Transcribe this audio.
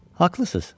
Haqlısız.